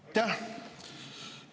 Aitäh!